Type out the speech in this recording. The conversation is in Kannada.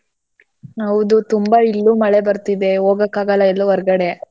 ಹೌದು ತುಂಬಾ ಇಲ್ಲೂ ಮಳೆ ಬರ್ತಿದೆ ಹೋಗಕ್ಕಾಗಲ್ಲ ಎಲ್ಲೂ ಹೊರ್ಗಡೆ.